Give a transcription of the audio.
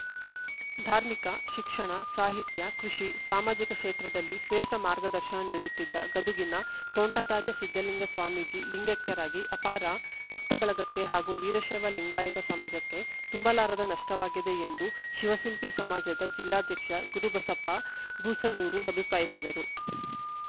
ಧಾರ್ಮಿಕ ಶಿಕ್ಷಣ ಸಾಹಿತ್ಯ ಕೃಷಿ ಸಾಮಾಜಿಕ ಕ್ಷೇತ್ರದಲ್ಲಿ ಶ್ರೇಷ್ಠ ಮಾರ್ಗದರ್ಶನ ನೀಡುತ್ತಿದ್ದ ಗದುಗಿನ ತೋಂಟದಾರ್ಯ ಸಿದ್ಧಲಿಂಗ ಸ್ವಾಮೀಜಿ ಲಿಂಗೈಕ್ಯರಾಗಿ ಅಪಾರ ಭಕ್ತ ಬಳಗಕ್ಕೆ ಹಾಗೂ ವೀರಶೈವ ಲಿಂಗಾಯತ ಸಮಾಜಕ್ಕೆ ತುಂಬಲಾರದ ನಷ್ಟವಾಗಿದೆ ಎಂದು ಶಿವಸಿಂಪಿ ಸಮಾಜದ ಜಿಲ್ಲಾಧ್ಯಕ್ಷ ಗುರುಬಸಪ್ಪ ಬೂಸನೂರು ಅಭಿಪ್ರಾಯಿಸಿದರು